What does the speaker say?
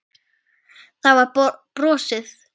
Það var brosað.